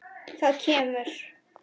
Það kemur.